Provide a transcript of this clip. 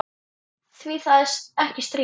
Því það er ekkert stríð.